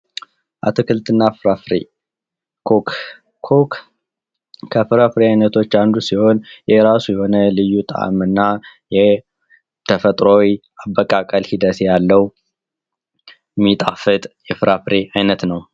በፀሐይ ብርሃንና በውሃ በመታገዝ በአፈር ውስጥ የሚበቅሉ የተፈጥሮ ውጤቶች